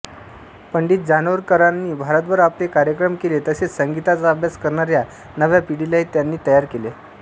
पं जानोरीकरांनी भारतभर आपले कार्यक्रम केले तसेच संगीताचा अभ्यास करणाऱ्या नव्या पिढीलाही त्यांनी तयार केले